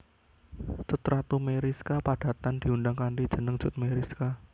Cut Ratu Meyriska padatan diundang kanthi jeneng Cut Meyriska